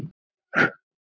Það vigtar ekki þungt.